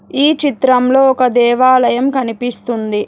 ఈ చిత్రంలో ఒక దేవాలయం కనిపిస్తుంది.